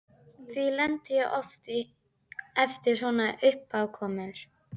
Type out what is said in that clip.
Því lenti ég oft í eftir svona uppákomur.